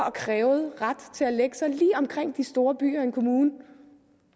og krævede ret til at sig lige omkring de store byer i en kommune